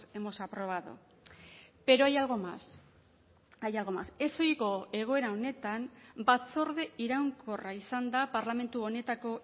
hemos aprobado pero hay algo más hay algo más ezohiko egoera honetan batzorde iraunkorra izan da parlamentu honetako